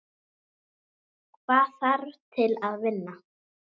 Hvað þarf til að vinna?